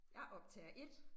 Jeg optager 1